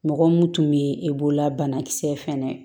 Mɔgɔ mun tun bɛ e bolola banakisɛ fɛnɛ